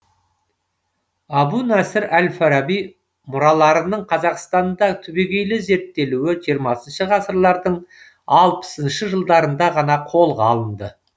әбу насыр әл фараби мұраларының қазақстанда түбегейлі зерттелуі жиырмасыншы ғасырлардың алпысыншы жылдарында ғана қолға алынды